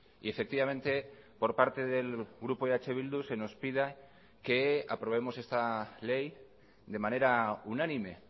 y efectivamente por parte del grupo eh bildu se nos pida que aprobemos esta ley de manera unánime